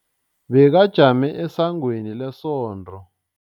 Bekajame esangweni lesonto.